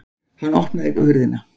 Hann opnaði hurðina.